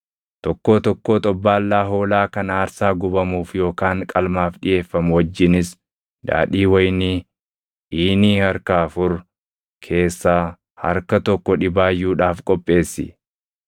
Tokkoo tokkoo xobbaallaa hoolaa kan aarsaa gubamuuf yookaan qalmaaf dhiʼeeffamu wajjinis daadhii wayinii iinii harka afur keessaa harka tokko dhibaayyuudhaaf qopheessi.